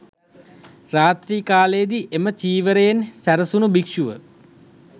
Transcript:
රාත්‍රී කාලයේ දී එම චීවරයෙන් සැරසුණු භික්‍ෂුව